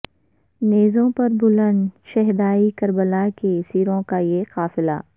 نیزوں پر بلند شہدائے کربلا کے سروں کا یہ قافلہ